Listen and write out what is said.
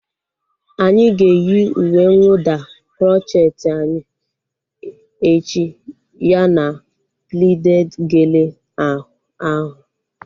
Anyị ga-eyi uwe nwụda krocheeti anyị echi ya na plited gele ahu